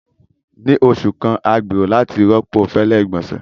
Ni oṣu kan, a gbero lati rọpo fẹlẹ igbonse.